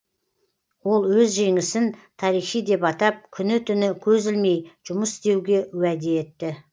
ол өз жеңісін тарихи деп атап күні түні көз ілмей жұмыс істеуге уәде етті